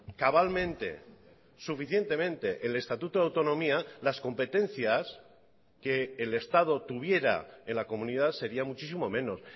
cabalmente suficientemente el estatuto de autonomía las competencias que el estado tuviera en la comunidad sería muchísimo menos